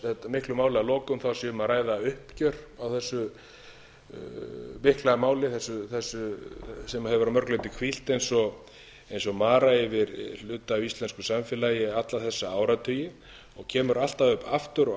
miklu máli að lokum þá sé um að ræða uppgjör á þessu mikla máli þessu sem hefur að mörgu leyti hvílt eins og mara yfir hluta af íslensku samfélagi alla þessa áratugi og kemur alltaf upp aftur og